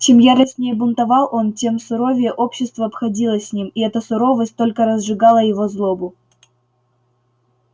чем яростнее бунтовал он тем суровее общество обходилось с ним и эта суровость только разжигала его злобу